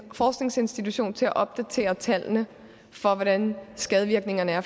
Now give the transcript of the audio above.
forskningsinstitution til at opdatere tallene for hvordan skadevirkningerne af